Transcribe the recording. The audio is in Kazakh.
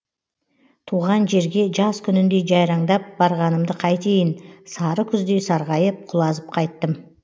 туған жерге жаз күніндей жайраңдап барғанымды қайтейін сары күздей сарғайып құлазып қайттым